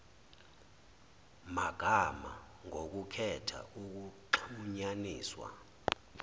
magama ngokukhetha ukuxhunyaniswa